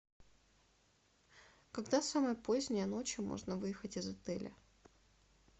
когда самое позднее ночью можно выехать из отеля